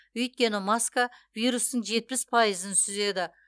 өйткені маска вирустың жетпіс пайызын сүзеді